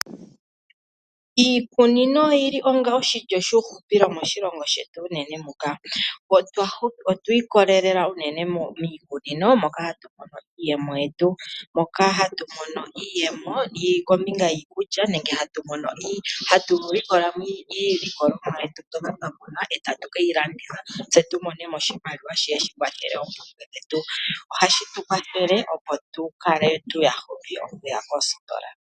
Iikunino oyili onga oshilyo shuuhupilo moshilongo shetu unene. Otwiikolelela unene miikunino moka hatu mono iiyemo kombinga yiikulya nenge hatu likola mo iilikolomwa yetu mbyoka twa kuna, tatu ke yi landitha opo tu mone mo oshimaliwa shi kandule po oompumbwe dhetu.